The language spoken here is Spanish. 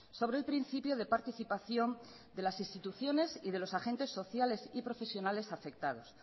sobre el principio de participación de las instituciones y de los agentes sociales y profesionales afectados